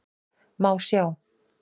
Má sjá